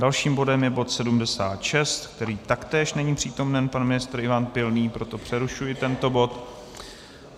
Dalším bodem je bod 76, kde taktéž není přítomen pan ministr Ivan Pilný, proto přerušuji tento bod.